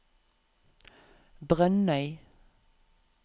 Brønnøy